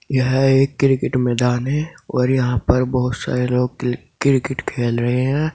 यह एक क्रिकेट मैदान है और यहां पर बहुत सारे लोग क्रिकेट खेल रहे हैं।